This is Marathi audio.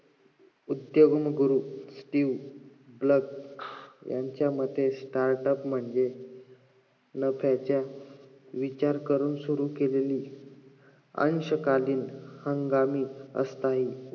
उद्योग गुरु स्टीव्ह ब्लॅक ह्यांच्या मत startup म्हणजे, नफ्याचा विचार करून सुरु केलेली अंशकालीन हंगामी अस्थायी